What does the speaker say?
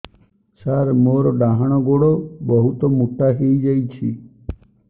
ସାର ମୋର ଡାହାଣ ଗୋଡୋ ବହୁତ ମୋଟା ହେଇଯାଇଛି